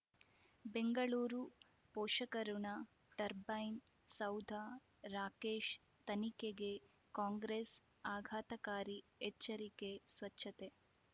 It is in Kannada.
ಬೆಂಗಳೂರು ಪೋಷಕಋಣ ಟರ್ಬೈನು ಸೌಧ ರಾಕೇಶ್ ತನಿಖೆಗೆ ಕಾಂಗ್ರೆಸ್ ಆಘಾತಕಾರಿ ಎಚ್ಚರಿಕೆ ಸ್ವಚ್ಛತೆ